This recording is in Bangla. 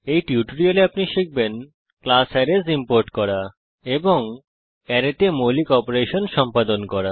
এই টিউটোরিয়ালে আপনি শিখবেন কিভাবে ক্লাস অ্যারেস ইম্পোর্ট করে এবং অ্যারেতে মৌলিক অপারেশন সম্পাদন করে